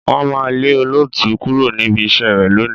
Wọ́n máa lé olóòtú kúrò níbi iṣẹ́ rẹ̀ lónìí.